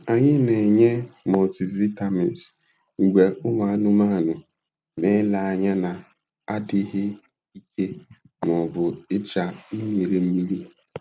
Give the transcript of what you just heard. Anyị na-enye multivitamins mgbe ụmụ anụmanụ na-ele anya na-adịghị ike ma ọ bụ icha mmirimmiri.